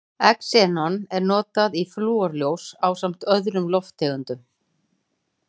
Xenon er notað í flúrljós ásamt öðrum lofttegundum.